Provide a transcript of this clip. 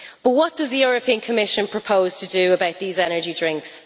But what does the Commission propose to do about these energy drinks?